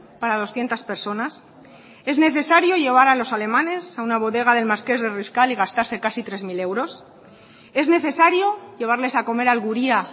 para doscientos personas es necesario llevar a los alemanes a una bodega del marqués de riscal y gastarse casi tres mil euros es necesario llevarles a comer al guria